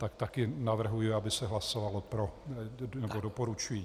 Tak také navrhuji, aby se hlasovalo pro, nebo doporučuji.